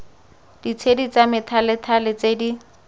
ditshedi tsa methalethale tse di